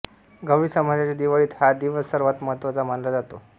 गवळी समाजाच्या दिवाळीत हा दिवस सर्वांत महत्त्वाचा मानला जातो